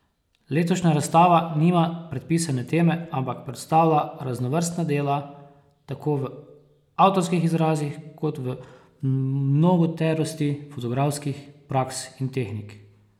Letošnja razstava nima predpisane teme, ampak predstavlja raznovrstna dela, tako v avtorskih izrazih kot v mnogoterosti fotografskih praks in tehnik.